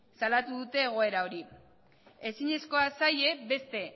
salatu dute egoera hori ezinezkoa zaie beste